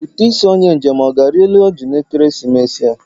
Ụtụ isi onye njem ọ ga-arị elu oji na ekeresimesi a?